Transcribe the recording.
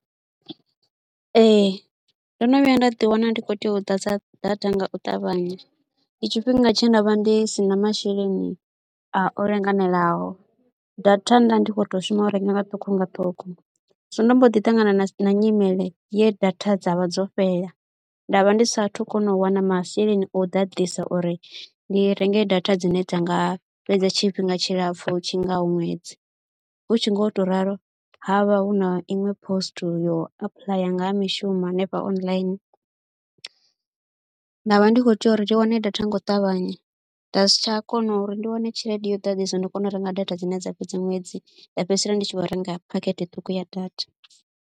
Ee ndo no vhuya nda ḓiwana ndi khou tea u ḓadza data nga u ṱavhanya, ndi tshifhinga tshe nda vha ndi si na masheleni a u linganelaho, data nda ndi kho tou shuma u renga nga ṱhukhu nga ṱhukhu. Zwino ndo mbo ḓi ṱangana na nyimele ye data dza vha dzo fhela, nda vha ndi saathu kona u wana masheleni o ḓaḓisa uri ndi renge data dzine dza nga fhedza tshifhinga tshilapfhu tshi ngaho ṅwedzi, hu tshi ngo tou ralo ha vha hu na iṅwe post yo apuḽaya nga ha mishumo hanefha online, nda vha ndi khou tea uri ndi wane data nga u ṱavhanya, nda si tsha kona uri ndi wane tshelede yo ḓaḓisa uri ndi kone u renga data dzine dza fhedza ṅwedzi nda fhedzisela ndi tshi khou renga phakhethe ṱhukhu ya data.